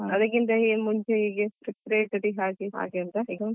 ಅದಕ್ಕಿಂತ ಮುಂಚೆ ಹೀಗೆ Preparatory ಹಾಗೆ ಹಾಗೆ ಉಂಟಾ ಈಗ.